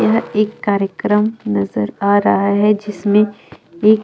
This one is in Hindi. यह एक कार्यक्रम नज़र आ रहा है जिसमे एक--